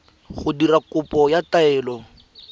go dira kopo ya taelo